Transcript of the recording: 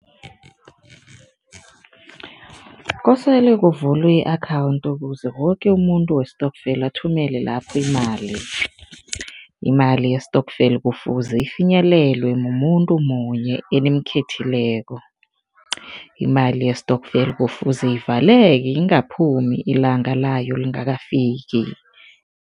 Kosele kuvulwe i-akhawundi ukuze woke umuntu wesitokfela athumele lapho imali. Imali ye-stokvel kufuze ifinyelelwe mumuntu munye enimkhethekileko. Imali ye-stokvel kufuze ivaleke, ingaphumi ilanga layo lingakafiki.